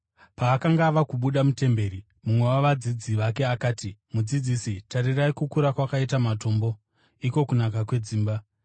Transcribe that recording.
Paakanga ava kubuda mutemberi, mumwe wavadzidzi vake akati, “Mudzidzisi, tarirai kukura kwakaita matombo! Iko kunaka kwedzimba!”